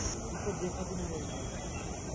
Nəyin demək istəyirəm mən indi?